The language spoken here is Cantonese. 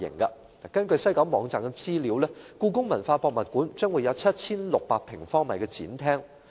根據西九管理局網站的資料，故宮館將會有 7,600 平方米的展廳。